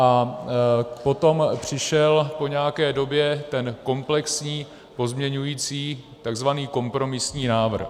A potom přišel, po nějaké době, ten komplexní pozměňující, tzv. kompromisní návrh.